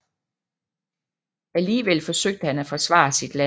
Alligevel forsøgte han at forsvare sit land